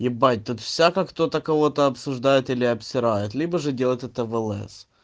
ебать тут всяко кто-то кого-то обсуждает или обсирает либо же делать это влс